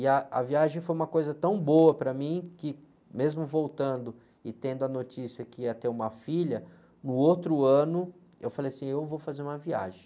E ah, a viagem foi uma coisa tão boa para mim, que mesmo voltando e tendo a notícia que ia ter uma filha, no outro ano eu falei assim, eu vou fazer uma viagem.